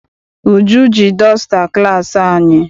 Uju ji dọsta class anyị.